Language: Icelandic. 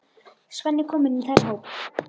Svenni kominn í þeirra hóp.